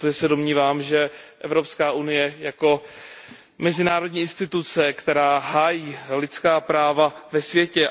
domnívám, že Evropská unie jako mezinárodní instituce musí hájit lidská práva ve světě.